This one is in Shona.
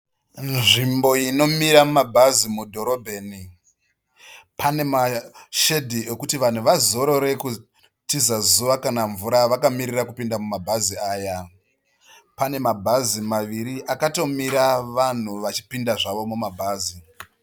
Nzvimbo inomira mabhazi mudhorobheni, pane mashedhi ekuti vanhu vazorore kutiza zuva kana mvura vakamirira kupinda mumabhazi aya, pane mabhazi maviri akatomira vanhu vachipinda zvavo mumabhazi.